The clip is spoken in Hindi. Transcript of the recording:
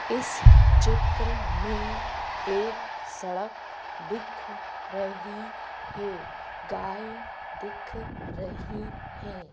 इस चित्र में एक सड़क दिख रही है गाय दिख रही है।